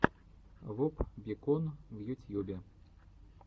воп бикон в ютьюбе